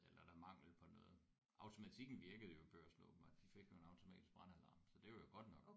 Eller er der mangel på noget automatikken virkede jo Børsen åbenbart de fik jo en automatisk brandalarm så det var jo godt nok